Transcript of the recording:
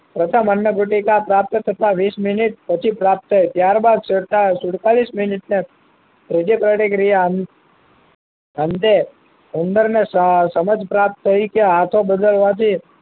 પ્રથમ અન્ન ગુટિકા પ્રાપ્ત થતા વીસ મિનીટ પછી પ્રાપ્ત થય ત્યાર બાદ સુડતાલીસ મિનીટ ને અંતે ઉંદર ને સમજ પ્રાપ્ત થઇ કે હાથો બગાડવા થી